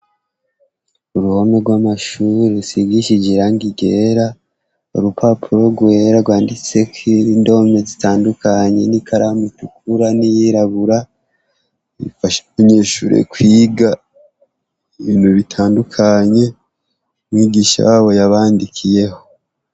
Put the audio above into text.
Uruhome rw'amashure rusigishije irangi ryera, urupapuro rwera gwanditseko indome zitandukanye n'ikaramu itukura n'iyirabura rufasha abanyeshure kwiga ibintu bitandukanye umwigisha wabo yabandikiyeho.